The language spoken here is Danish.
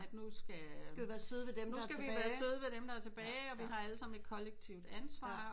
At nu skal nu skal vi være søde ved dem der er tilbage og vi har alle sammen et kollektivt ansvar